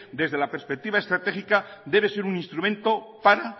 desde la perspectiva estratégica debe ser un instrumento para